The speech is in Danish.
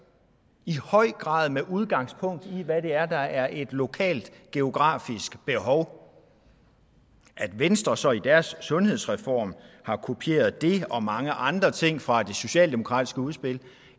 i høj grad med udgangspunkt i hvad det er der er et lokalt geografisk behov at venstre så i deres sundhedsreform har kopieret det og mange andre ting fra det socialdemokratiske udspil